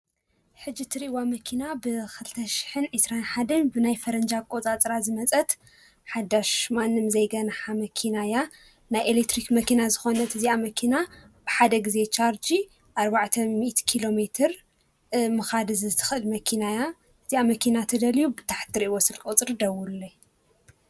ሕጂ እትሪእዋ መኪና ብኸልተ ሽሕን ዕስራን ሓደን ብናይ ፈረንጂ ኣቖፃፅራ ዝመፀት ሓዳሽ ማንም ዘይገንሓ መኪና እያ፡፡ ናይ ኤሌክትሪክ መኪና ዝኾነት እዚኣ መኪና ብሓደ ጊዜ ቻርዲ ኣርባዕተ ሚእቲ ኪሎ ሜትር ምኻድ ትኽእል መኪና እያ፡፡ እዛ መኪና ትደልዩ ብታሕቲ ብትሪእዎ ስልኪ ቁፅሪ ደውለለይ፡፡